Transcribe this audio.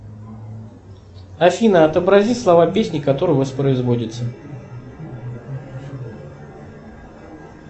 афина отобрази слова песни которая воспроизводится